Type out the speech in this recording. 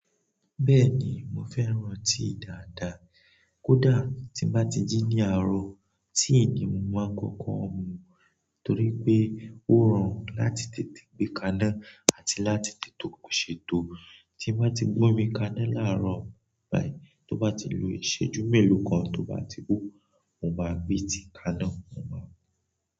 Bẹ́ẹ̀ni mo fẹ́ràn tíì dàádàá, kódà tí mo ba ti jí ní àárọ̀ tíì ni mo máa ń kọ́kọ́ mu torí pé ó rọrùn láti tètè gbé kaná àti láti tètè ṣètò. Tí n ba ti gbé omi kaná laarọ bayi, to ba ti lo ìṣẹ́jú melo kan to ba ti ho, mo ma gbe tíì kaná.